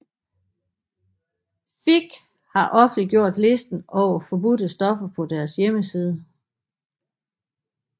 FIK har offentliggjort listen over forbudte stoffer på deres hjemmeside